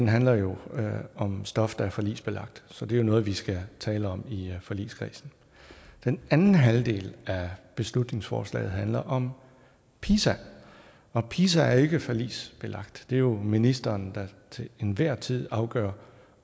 handler jo om stof der er forligsbelagt så det er jo noget vi skal tale om i forligskredsen den anden halvdel af beslutningsforslaget handler om pisa og pisa er jo ikke forligsbelagt det er ministeren der til enhver tid afgør